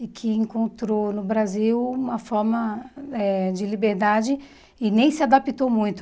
e que encontrou no Brasil uma forma eh de liberdade e nem se adaptou muito.